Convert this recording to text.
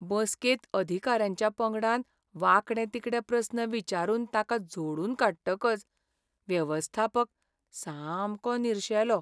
बसकेंत अधिकाऱ्यांच्या पंगडान वांकडे तिकडे प्रस्न विचारून ताका झोडून काडटकच वेवस्थापक सामको निरशेलो.